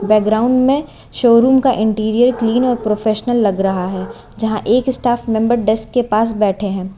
Background में showroom का interior clean और प्रोफेशनल लग रहा है जहां एक स्टाफ मेंबर डेस्क के पास बैठे हैं।